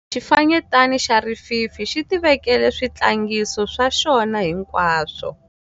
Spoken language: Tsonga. Xifanyetana xa rififi tivekele switlangiso swa xona hinkwaswo.